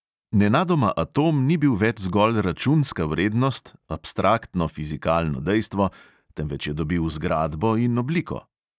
Nenadoma atom ni bil več zgolj računska vrednost, abstraktno fizikalno dejstvo, temveč je dobil zgradbo in obliko.